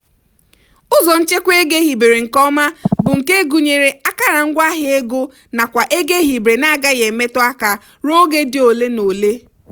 ụzọ nchekwa ego ehibere nke ọma bụ nke gụnyere akara ngwaahịa ego nakwa ego ehibere na-agaghị emetu aka ruo oge dị ole na ole.